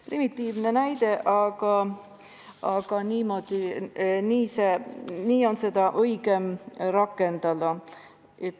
Primitiivne näide, aga nii on seda piirangut kõige õigem rakendada.